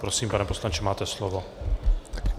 Prosím, pane poslanče, máte slovo.